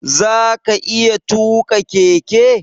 Zaka iya tuƙa keke?